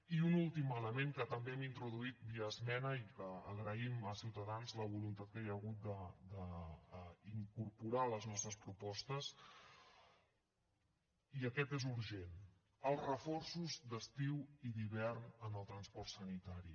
i un últim element que també hem introduït via esmena i que agraïm a ciutadans la voluntat que hi ha hagut d’incorporar les nostres propostes i aquest és urgent els reforços d’estiu i d’hivern en el transport sanitari